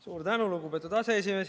Suur tänu, lugupeetud aseesimees!